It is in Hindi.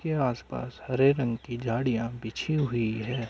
के आसपास हरे रंग की झाड़ियाँ बिछी हुई है।